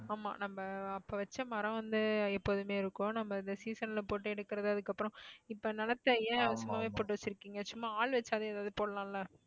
ஆமா நம்ம அப்ப வச்ச மரம் வந்து எப்போதுமே இருக்கும் நம்ம இந்த season ல போட்டு எடுக்கிறது அதுக்கப்புறம் இப்ப நிலத்தை ஏன் சும்மாவே போட்டு வச்சிருக்கீங்க சும்மா ஆள் வச்சாவது ஏதாவது போடலாம் இல்ல